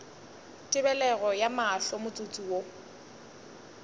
tebelego ya mahlo motsotso wo